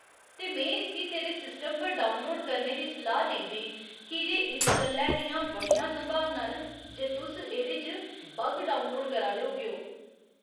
ते में इसगी तेरे सिस्टम पर डाउनलोड करने दी सलाह् नेईं देङ कीजे इस गल्लै दियां बड़ियां संभावनां न जे तुस एह्दे च बग डाउनलोड करा दे होगेओ।